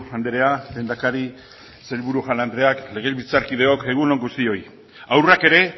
andrea lehendakari sailburu jaun andreak legebiltzarkideok egun on guztioi haurrak ere